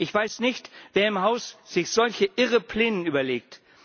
Ich weiß nicht, wer im Haus sich solche irren Pläne überlegt.